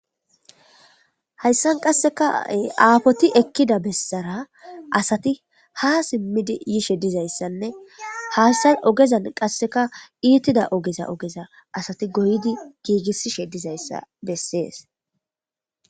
Hayssan qasseka aafoti ekkida bessara asati ha simmidi yishe dizayssanne hayssan ogezan qasseka iitida ogeza ogeza asati goydi giigissishe dizayssa bessees